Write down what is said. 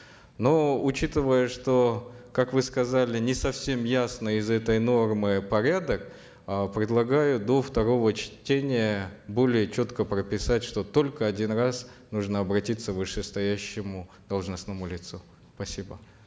но учитывая что как вы сказали не совсем ясный из этой нормы порядок э предлагаю до второго чтения более четко прописать что только один раз нужно обратиться к вышестоящему должностному лицу спасибо